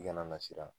I kana na siran